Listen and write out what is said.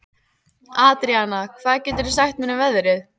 Andríana, hvað geturðu sagt mér um veðrið?